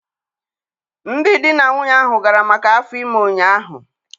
Ndị di na nwunye ahụ gara maka afọ ime ụnyahụ